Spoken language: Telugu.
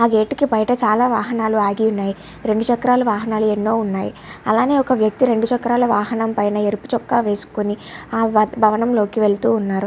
ఆ గేటు కి బయట వాహనాలు చాలా ఆగి ఉన్నాయి. రెండు చక్రాలు వాహనాలు ఎన్నో ఉన్నాయి. అలాగే ఒక వ్యక్తి రెండు చక్రాల వాహనం పైన ఎర్ర చొక్కా వేసుకొని ఆ భవనంలోకి వెళ్తూ ఉన్నారు.